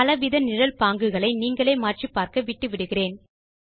பலவித நிழல் பாங்குகளை நீங்களே மாற்றிப் பார்க்க விட்டுவிடுகிறேன்